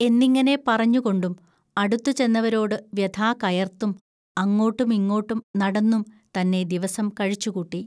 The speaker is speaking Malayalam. എന്നിങ്ങനെ പറഞ്ഞുകൊണ്ടും അടുത്തുചെന്നവരോടു വൃഥാ കയർത്തും അങ്ങോട്ടും ഇങ്ങോട്ടും നടന്നും തന്നെ ദിവസം കഴിച്ചുകൂട്ടി